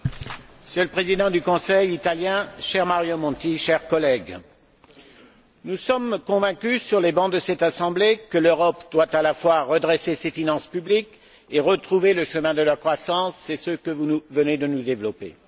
Monsieur le Président, Monsieur le Président du conseil italien, cher Mario Monti, chers collègues, nous sommes convaincus sur les bancs de cette Assemblée que l'Europe doit à la fois redresser ses finances publiques et retrouver le chemin de la croissance. C'est ce que vous venez de nous exposer.